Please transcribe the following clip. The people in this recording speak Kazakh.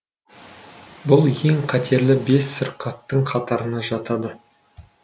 бұл ең қатерлі бес сырқаттың қатарына жатады